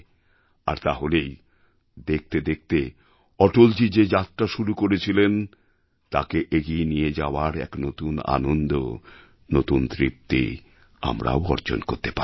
আর তাহলেই দেখতে দেখতে অটলজী যে যাত্রা শুরু করেছিলেন তাকে এগিয়ে নিয়ে যাওয়ার এক নতুন আনন্দ নতুন তৃপ্তি আমরাও অর্জন করতে পারবো